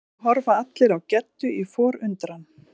Nú horfa allir á Geddu í forundran.